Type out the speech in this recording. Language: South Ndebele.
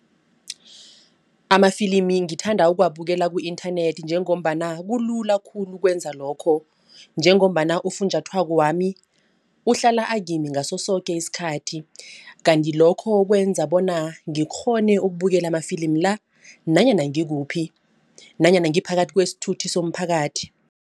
Amafilimi ngithanda ukuwabukela ku-internet njengombana kulula khulu ukwenza lokho. Njengombana ufunjathwakwami uhlala kimi ngaso soke isikhathi. Kanti lokho kwenza bona ngikghone ukubukela amafilimi la nanyana ngikuphi. Nanyana ngiphakathi kwesithuthi somphakathi.